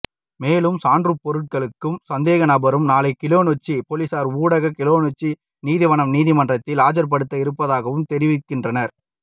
மேலும் சான்ருப்போருட்களும் சந்தேகநபரும் நாளை கிளிநொச்சிப் பொலிசார் ஊடாக கிளிநொச்சி நீதவான் நீதிமன்றில் ஆயர்ப்படுத்த இருப்பதாகவும் தெரிவிக்கின்றனர்